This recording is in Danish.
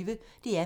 DR P1